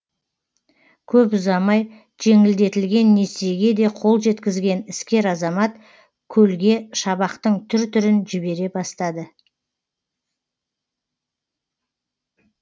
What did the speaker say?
көп ұзамай жеңілдетілген несиеге де қол жеткізген іскер азамат көлге шабақтың түр түрін жібере бастады